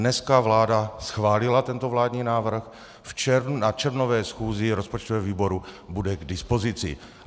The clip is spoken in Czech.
Dneska vláda schválila tento vládní návrh, na červnové schůzi rozpočtového výboru bude k dispozici.